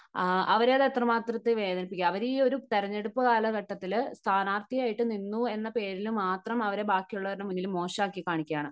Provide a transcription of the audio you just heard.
അവരെ അത് എത്രമാത്രം വേദനിപ്പിക്കും? അവർ ഈ ഒരു തിരഞ്ഞെടുപ്പ് കാലഘട്ടത്തിൽ സ്ഥാനാർത്ഥി ആയിട്ട് നിന്നു എന്നതിന്റെ പേരിൽ മാത്രം അവരെ ബാക്കിയുള്ളവരുടെ മുൻപിൽ മോശമാക്കി കാണിക്കുകയാണ്.